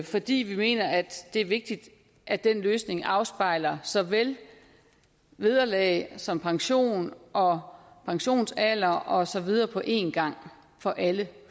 fordi vi mener at det er vigtigt at den løsning afspejler så vel vederlag som pension og pensionsalder og så videre på en gang for alle